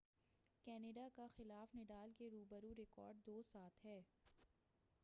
Canada کا خلاف Nadal کے رو برو ریکارڈ 7-2 ہے